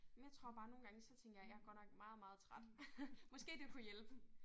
Men jeg tror bare nogle gange så tænker jeg jeg godt nok meget meget træt måske det kunne hjælpe